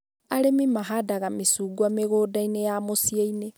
Arĩmi mahandaga mĩcungwa mĩgũnda-inĩ ya mũcii-inĩ